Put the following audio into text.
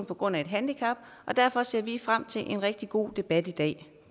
på grund af et handicap derfor ser vi frem til en rigtig god debat i dag